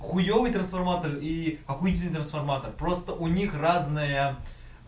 хуёвый трансформатор и обычный трансформатор просто у них разная